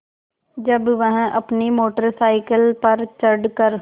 जब वह अपनी मोटर साइकिल पर चढ़ कर